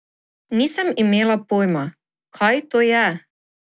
Nisem imela pojma, kaj to je.